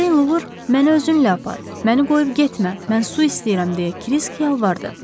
Ördəklor, məni özünlə apar, məni qoyub getmə, mən su istəyirəm deyə Kirisk yalvardı.